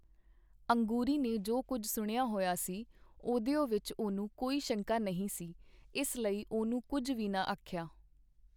ਅੰਗੂਰੀ ਨੇ ਜੋ ਕੁੱਝ ਸੁਣਿਆ ਹੋਇਆ ਸੀ, ਉਹਦਿਓ ਵਿਚ ਉਹਨੂੰ ਕੋਈ ਸ਼ੰਕਾ ਨਹੀਂ ਸੀ, ਇਸ ਲਈ ਉਹਨੂੰ ਕੁੱਝ ਵੀ ਨਾ ਆਖਿਆ.